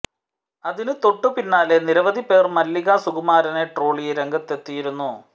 അതിന് തൊട്ടുപിന്നാലെ നിരവധി പേർ മല്ലിക സുകുമാരനെ ട്രോളി രംഗത്തെത്തിയിരുന്നു